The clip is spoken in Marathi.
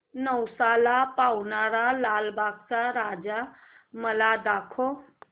नवसाला पावणारा लालबागचा राजा मला दाखव